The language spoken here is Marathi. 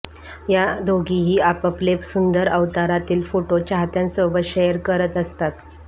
या दोघीही आपापले सुंदर अवतारातील फोटो चाहत्यांसोबत शेअर करत असतात